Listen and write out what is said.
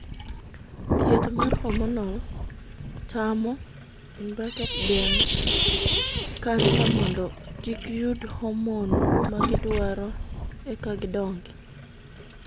Thieth mar 'hormonal' tamo (geng'o) kansa mondo kik yud 'hormone' ma gidwaro eka gidongi.